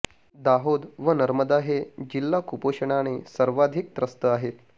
दाहोद व नर्मदा हे जिल्हा कुपोषणाने सर्वाधिक त्रस्त आहेत